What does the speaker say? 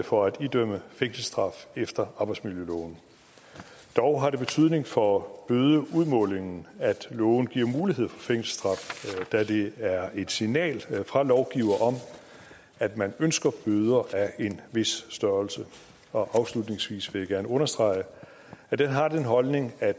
for at idømme fængselsstraf efter arbejdsmiljøloven dog har det betydning for bødeudmålingen at loven giver mulighed for fængselsstraf da det er et signal fra lovgiver om at man ønsker bøder af en vis størrelse afslutningsvis vil jeg gerne understrege at jeg har den holdning at